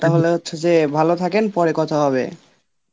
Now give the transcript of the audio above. তাহলে হচ্ছে যে ভালো থাকেন পরে কথা হবে.